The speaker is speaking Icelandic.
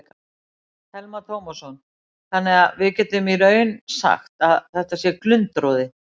Telma Tómasson: Þannig að við getum í raun sagt að þetta sé glundroði?